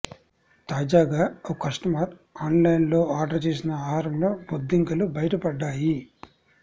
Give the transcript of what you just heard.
తాజాగా ఓ కస్టమర్ ఆన్లైన్లో ఆర్డర్ చేసిన ఆహారంలో బొద్దింకలు బయటపడ్డాయి